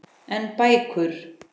En bækur?